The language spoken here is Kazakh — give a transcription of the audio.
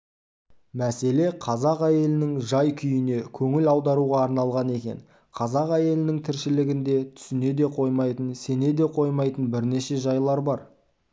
мәселе қазақ әйелінің жай-күйіне көңіл аударуға арналған екен қазақ әйелінің тіршілігінде түсіне де қоймайтын сене де қоймайтын бірнеше жайлар бар